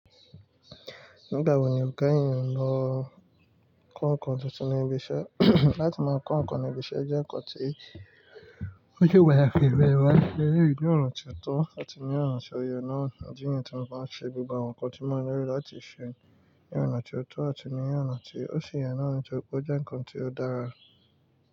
Nígbà wo ni gan an lọ kó ǹkan tuntun ní ibi iṣẹ́? Láti máa kó ǹkan ní ibi iṣẹ́ jẹ́ ǹkan tí ó se pataki, mo de ma n se eleyi ní ọ̀nà ti ó tọ́ àti ní ọ̀nà tó yé náà. Idi niyi tí mo ba ń ṣe gbogbo àwọn ǹkan tí maa n laa láti se ní ọ̀nà ti ó tọ́ àti ní ọ̀nà tí ó ṣi yẹ náà, nitóri pé ó jẹ́ ǹkan tí ó dára.